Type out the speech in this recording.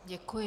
Děkuji.